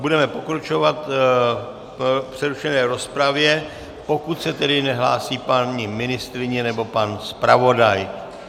Budeme pokračovat v přerušené rozpravě, pokud se tedy nehlásí paní ministryně nebo pan zpravodaj.